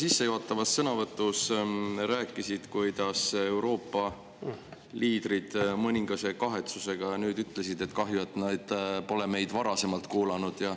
Sa sissejuhatavas sõnavõtus rääkisid, kuidas Euroopa liidrid mõningase kahetsusega nüüd ütlesid, et kahju, et nad pole meid varasemalt kuulanud.